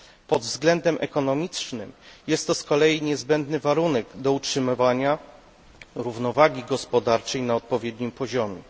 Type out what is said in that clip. Pod względem ekonomicznym jest to z kolei niezbędny warunek do utrzymywania równowagi gospodarczej na odpowiednim poziomie.